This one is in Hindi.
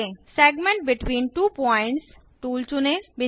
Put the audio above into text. segment between two points tool चुनें